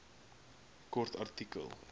kort artikel